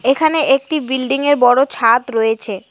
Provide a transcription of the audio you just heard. এখানে একটি বিল্ডিংয়ের বড় ছাদ রয়েছে।